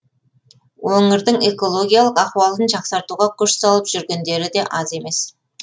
өңірдің экологиялық ахуалын жақсартуға күш салып жүргендері де аз емес